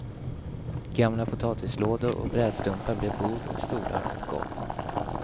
Gamla potatislådor och brädstumpar blev bord och stolar och golv.